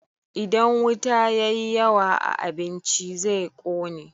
Idan wuta ya yi yawa a abinci, zai ƙone.